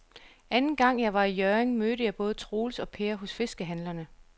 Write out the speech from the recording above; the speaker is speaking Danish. Anden gang jeg var i Hjørring, mødte jeg både Troels og Per hos fiskehandlerne.